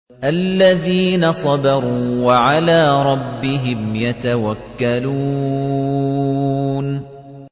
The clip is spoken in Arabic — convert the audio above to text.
الَّذِينَ صَبَرُوا وَعَلَىٰ رَبِّهِمْ يَتَوَكَّلُونَ